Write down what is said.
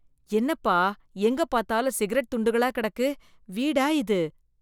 என்னப்பா, எங்க பார்த்தாலும் சிகரெட் துண்டுகளா கிடக்கு, வீடா இது.